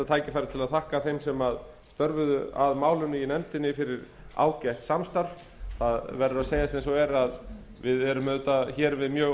tækifæri til að þakka þeim sem störfuðu að málinu í nefndinni fyrir ágætt samstarf það verður að segjast eins og er að aðstæður eru mjög